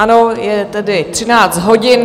Ano, je tedy 13 hodin.